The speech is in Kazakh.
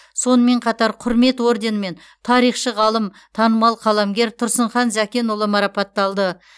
сонымен қатар құрмет орденімен тарихшы ғалым танымал қаламгер тұрсынхан зәкенұлы марапатталды